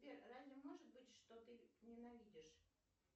сбер разве может быть что ты ненавидишь